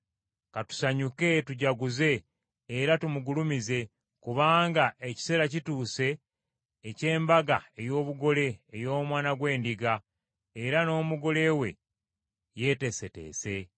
Ka tusanyuke, tujaguze, era tumugulumize, kubanga ekiseera kituuse eky’embaga ey’obugole ey’Omwana gw’Endiga, era n’omugole we yeeteeseteese.